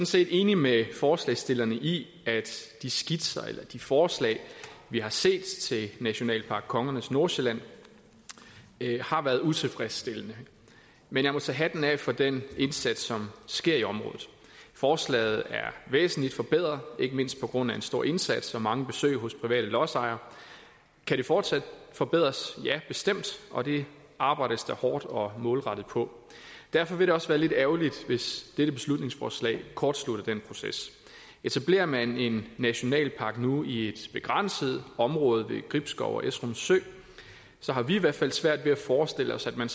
set enig med forslagsstillerne i at de skitser eller de forslag vi har set til nationalpark kongernes nordsjælland har været utilfredsstillende men jeg må tage hatten af for den indsats som sker i området forslaget er væsentligt forbedret ikke mindst på grund af en stor indsats med mange besøg hos private lodsejere kan det fortsat forbedres ja bestemt og det arbejdes der hårdt og målrettet på derfor vil det også være lidt ærgerligt hvis dette beslutningsforslag kortslutter den proces etablerer man en nationalpark nu i et begrænset område ved gribskov og esrum sø så har vi i hvert fald svært ved at forestille os at man